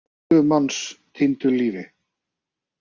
Eitt hundrað og tuttugu manns týndu lífi.